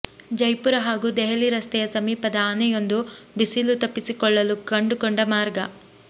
ಜೈಪುರ ಹಾಗೂ ದೆಹಲಿ ರಸ್ತೆಯ ಸಮೀಪದ ಆನೆಯೊಂದು ಬಿಸಿಲು ತಪ್ಪಿಸಿಕೊಳ್ಳಲು ಕಂಡು ಕೊಂಡ ಮಾರ್ಗ